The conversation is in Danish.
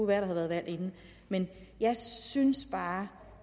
at der har været valg inden men jeg synes bare